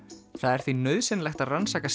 það er því nauðsynlegt að rannsaka